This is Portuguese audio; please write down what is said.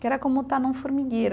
que era como estar num formigueiro.